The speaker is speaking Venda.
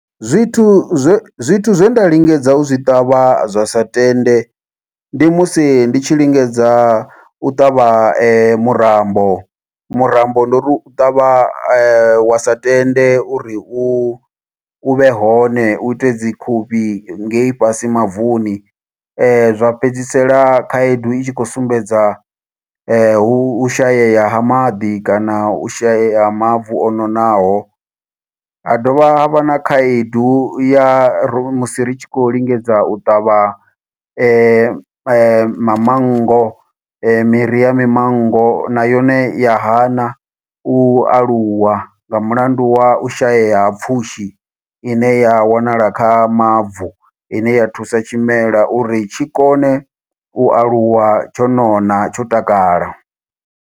Zwithu zwe, zwithu zwe nda lingedza u zwi ṱavha zwa sa tende, ndi musi ndi tshi lingedza u ṱavha murambo. Murambo ndo ri u u ṱavha wa sa tende uri u u vhe hone, u ite dzikhuvhi ngei fhasi mavuni. Zwa fhedzisela khaedu i tshi khou sumbedza hu u shayea ha maḓi, kana u shayeya ha mavu o nonaho. Ha dovha ha vha na khaedu ya musi ri tshi khou lingedza u ṱavha ma mamango, miri ya mimango, na yone ya hana u aluwa, nga mulandu wa u shayeya ha pfushi. I ne ya wanala kha mavu, ine ya thusa tshimelwa uri tshi kone u aluwa tsho nona, tsho takala.